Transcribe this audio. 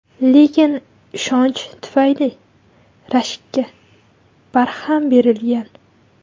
Lekin ishonch tufayli rashkka barham berilgan.